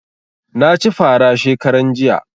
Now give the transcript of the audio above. Na ci fara shekaran jiya